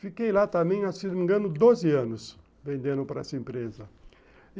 Fiquei lá também, se não me engano, doze anos vendendo para essa empresa.